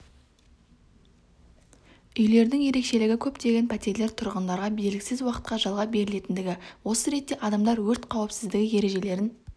үйлердің ерекшелігі көптеген пәтерлер тұрғындарға белгісіз уақытқа жалға берілетіндігі осы ретте адамдар өрт қауіпсіздігі ережелерін